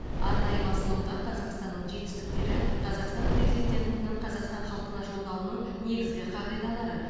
арнайы басылымға қазақстанның жетістіктері қазақстан президентінің қазақстан халқына жолдауының негізгі қағидалары